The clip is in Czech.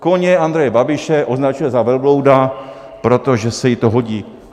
Koně Andreje Babiše označuje za velblouda, protože se jí to hodí.